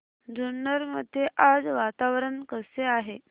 जुन्नर मध्ये आज वातावरण कसे आहे